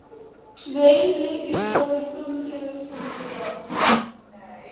Tveir leikir fara fram hér á Íslandi í dag.